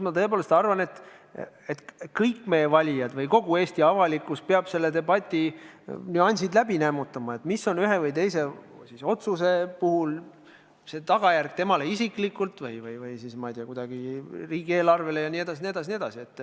Ma tõepoolest arvan, et kõik meie valijad või kogu Eesti avalikkus peab selle debati nüansid läbi nämmutama: mis on ühe või teise otsuse tagajärg temale isiklikult või siis, ma ei tea, riigieelarvele.